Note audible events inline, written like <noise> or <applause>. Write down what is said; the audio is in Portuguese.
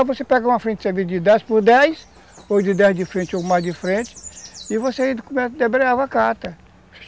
Não, você pegava uma frente de <unintelligible> dez por dez, ou de dez de frente ou mais de frente, e você ia e debreava a carta